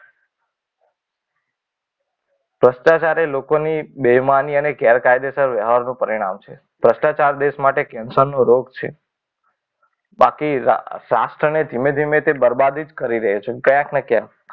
ભ્રષ્ટાચાર એ લોકોને બેમાની અને ગેરકાયદેસર વ્યવહારનું પરિણામ છે. ભ્રષ્ટાચાર દેશ માટે કેન્સરનો રોગ છે. બાકી રાષ્ટ્રનીતિ ધીમે ધીમે બરબાદિત કરી દે છે. ક્યાંક ને ક્યાંક